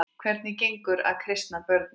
Hvernig gengur að kristna börnin?